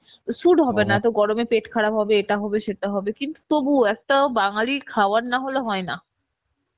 suit হবে না এত গরম এ পেট খারাপ হবে ইটা হবে সেটা হবে কিন্তু তবুও একটা বাঙালি খাওয়ার না হলে হয়েনা